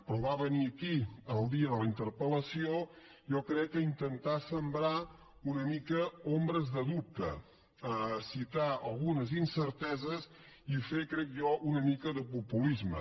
però va venir aquí el dia de la interpel·lació jo crec que a intentar sembrar una mica ombres de dubte citar algunes incerteses i fer crec jo una mica de populisme